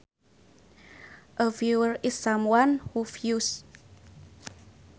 A viewer is someone who views